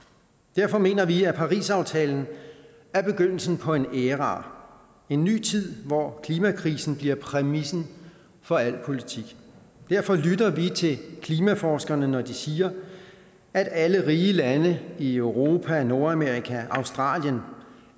derfor mener vi at parisaftalen er begyndelsen på en æra en ny tid hvor klimakrisen bliver præmissen for al politik derfor lytter vi til klimaforskerne når de siger at alle rige lande i europa nordamerika australien